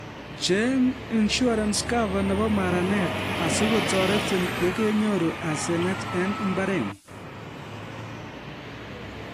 Cheng' insurance cover nebo maranet asikotorerin yekenyoru asenet eng imbaretng'ung